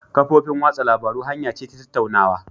Kafofin watsa labarun hanya ce ta tattaunawa